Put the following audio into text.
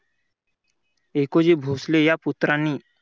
एकोजी भोसले या पुत्रांनी